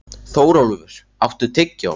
Þórólfur, áttu tyggjó?